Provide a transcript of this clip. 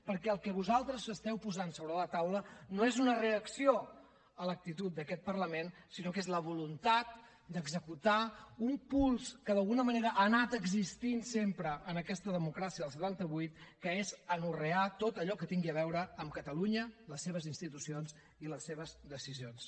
perquè el que vosaltres esteu posant sobre la taula no és una reacció a l’actitud d’aquest parlament sinó que és la voluntat d’executar un pols que d’alguna manera ha anat existint sempre en aquesta democràcia del setanta vuit que és anorrear tot allò que tingui a veure amb catalunya les seves institucions i les seves decisions